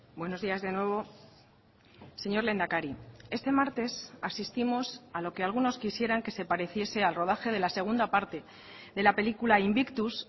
buenos días de nuevo señor lehendakari este martes asistimos a lo que algunos quisieran que se pareciese al rodaje de la segunda parte de la película invictus